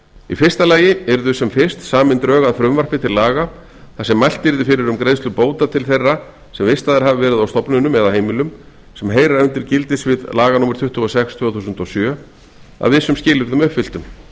í fyrsta lagi yrðu sem fyrst samin drög að frumvarpi til laga þar sem mælt yrði fyrir um greiðslu bóta til þeirra sem vistaðir hafa verið á stofnunum eða heimilum sem heyra undir gildissvið laga númer tuttugu og sex tvö þúsund og sjö að vissum skilyrðum uppfylltum